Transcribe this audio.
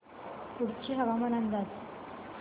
कुडची हवामान अंदाज